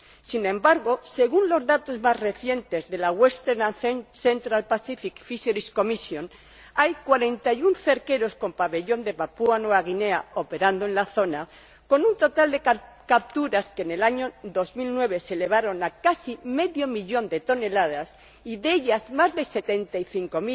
Sin embargo, según los datos más recientes de la Western and Central Pacific Fisheries Commission, hay 41 cerqueros con pabellón de Papúa Nueva Guinea operando en la zona, con un total de capturas que en el año 2009 se elevó a casi medio millón de toneladas y, de ellas, más de 75